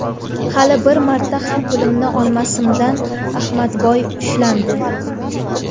Hali bir marta ham pulimni olmasimdan, Ahmadboy ushlandi.